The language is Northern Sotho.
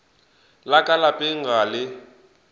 la ka lapeng ga le